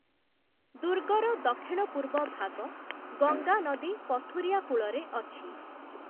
ଦୁର୍ଗର ଦକ୍ଷିଣ-ପୂର୍ବ ଭାଗ ଗଙ୍ଗା ନଦୀ ପଥୁରିଆ କୂଳରେ ଅଛି ।